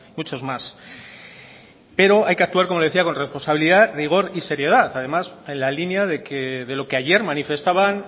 muchos más pero hay que actuar como decía con responsabilidad rigor y seriedad además en la línea de lo que ayer manifestaban